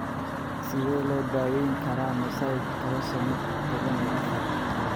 Sidee loo daweyn karaa mosaic trisomy toban iyo afar?